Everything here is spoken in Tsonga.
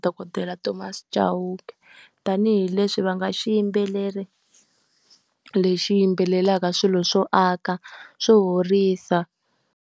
Dokodela Thomas Chauke, tanihileswi va nga xiyimbeleri lexi yimbelelaka swilo swo aka, swo horisa.